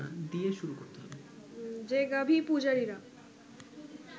যে ‘গাভি-পূজারি’রা